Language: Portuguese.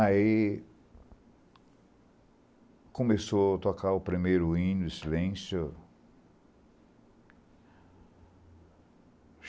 Aí começou a tocar o primeiro hino, o Silêncio.